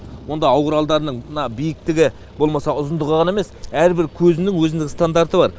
онда ау құралдарының мына биіктігі болмаса ұзындығы ғана емес әр бір көзінің өзінің стандарты бар